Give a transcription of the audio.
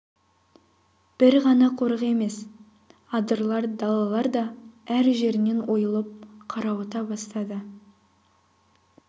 бір ғана қорық емес адырлар далалар да әр жерінен ойылып қарауыта бастады